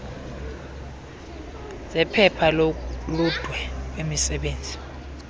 zephepha loludwe lwemisebenzi